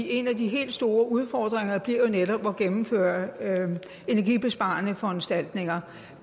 en af de helt store udfordringer bliver jo netop at gennemføre energibesparende foranstaltninger